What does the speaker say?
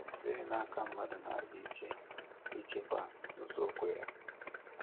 Ọ dịghị n’aka mmadụ na-aga ije ịchịkwa nzọụkwụ ya.